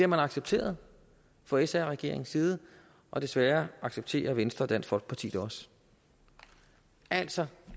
jo accepteret fra sr regeringens side og desværre accepterer venstre og dansk folkeparti det også altså